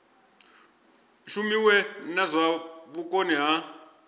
shumiwe na zwa vhukoni ha